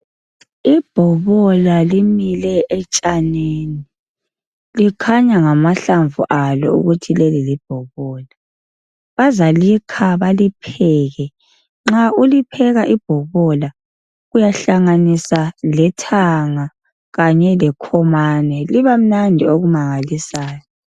Ibhobola limilile etshanini, likhanya ngamahlamvu alo ukuthi leli libhobola. Bazalikha balipheke, nxa ulipheka ibhobola uyahlanganisa lethanga kanye lekhomane. Liba mnandi okumangalisayo.